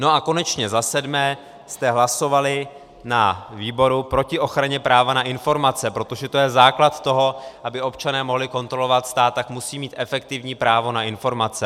No a konečně za sedmé jste hlasovali na výboru proti ochraně práva na informace, protože to je základ toho, aby občané mohli kontrolovat stát, tak musí mít efektivní právo na informace.